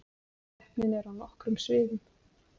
Keppnin er á nokkrum sviðum